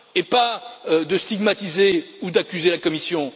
au lieu de stigmatiser ou d'accuser la Commission.